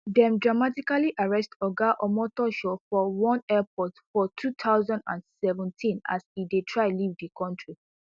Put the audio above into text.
dem dramatically arrest oga omotoso for one airport for two thousand and seventeen as e dey try leave di kontri